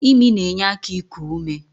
Imi na-enye aka iku ume.